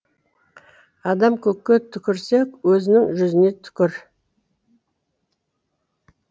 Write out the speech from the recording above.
адам көкке түкірсе өзінің жүзіне түкір